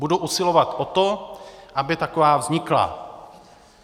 Budu usilovat o to, aby taková vznikla.